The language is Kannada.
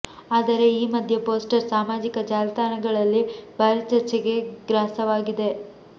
ಆದರೆ ಈ ಮದ್ಯೆ ಪೋಸ್ಟರ್ ಸಾಮಾಜಿಕ ಜಾಲತಾಣಗಳಲ್ಲಿ ಭಾರಿ ಚರ್ಚೆಗೆ ಗ್ರಾಸವಾಗಿದೆ